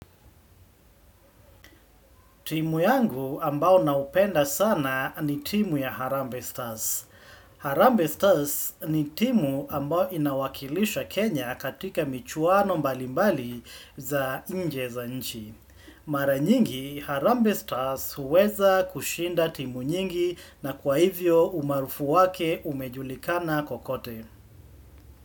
Timu yangu ambayo naipenda sana ni timu ya Harambee Stars. Harambee Stars ni timu ambayo inawakilisha Kenya katika michuano mbalimbali za nje za nchi. Mara nyingi Harambee Stars huweza kushinda timu nyingi na kwa hivyo umaarufu wake umejulikana kokote.